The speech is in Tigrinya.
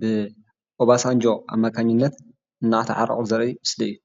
ብኦባሳንጆ ኣማካኝነት እናተዓረቑ ዘርኢ ምስሊ እዩ፡፡